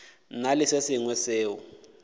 na le se sengwe seo